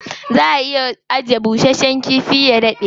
Za a iya ajiye bushasshen kifi ya daɗe.